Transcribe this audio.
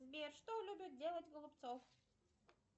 сбер что любит делать голубцов